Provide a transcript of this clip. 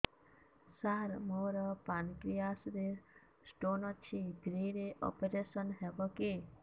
ସାର ମୋର ପାନକ୍ରିଆସ ରେ ସ୍ଟୋନ ଅଛି ଫ୍ରି ରେ ଅପେରସନ ହେବ କି